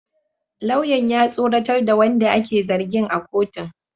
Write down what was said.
Lauyan ya tsoratar da wanda ake zargin a kotun